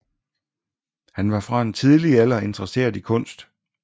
Han var fra en tidlig alder interesseret i kunst